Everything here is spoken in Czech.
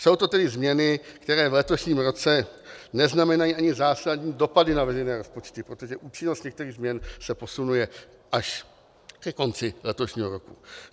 Jsou to tedy změny, které v letošním roce neznamenají ani zásadní dopady na veřejné rozpočty, protože účinnost některých změn se posunuje až ke konci letošního roku.